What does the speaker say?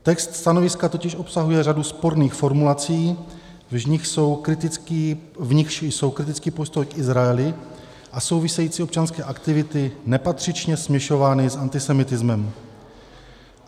Text stanoviska totiž obsahuje řadu sporných formulací, v nichž jsou kritický postoj k Izraeli a související občanské aktivity nepatřičně směšovány s antisemitismem.